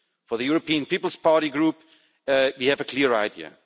For the European People's Party Group we have a clear idea.